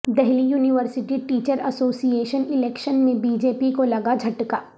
Delhi university teacher association election میں B J P کو لگا جھٹکا